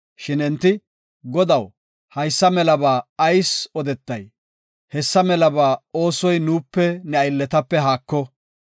Shin enti, “Godaw haysa melaba ayis odetay? Hessa melaba oosoy nuupe ne aylletape haako.